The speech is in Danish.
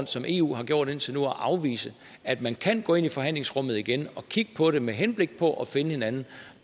som eu har gjort indtil nu at afvise at man kan gå ind i forhandlingsrummet igen og kigge på det med henblik på at finde hinanden